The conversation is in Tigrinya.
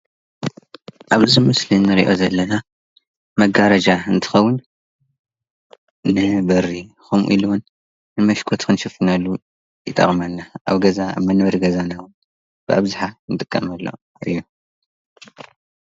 ኣብዚ ምስሊ ንሪኦ ዘለና መጋረጃ እንትከዉን ንበሪ ከምኡ ኢሉ ዉን ንመሽኮት ክንሽፍነሉ ይጠቅመና። ኣብ ገዛ መንበሪ ገዛና እውን ብኣብዝሓ ንጥቀመሉ እዩ ።